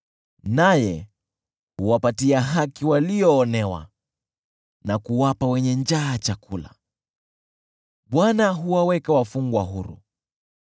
Naye huwapatia haki walioonewa na kuwapa wenye njaa chakula. Bwana huwaweka wafungwa huru,